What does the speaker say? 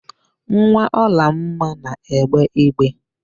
Nwa Ọlụoma na-egbe igbe.